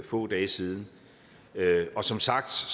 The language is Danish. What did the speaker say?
få dage siden og som sagt